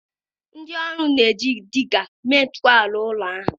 Ndị ọrụ na-eji Dịgga mee ntọala ụlọ ahụ.